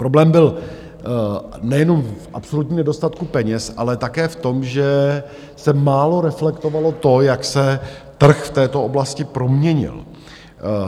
Problém byl nejenom v absolutním nedostatku peněz, ale také v tom, že se málo reflektovalo to, jak se trh v této oblasti proměnil.